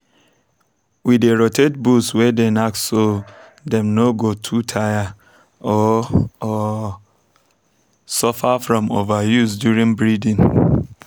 we dey rotate bulls way dey knack so dem no go too tire or or suffer from overuse during breeding